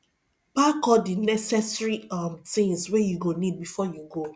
park all di necessary um things wey you go need before you go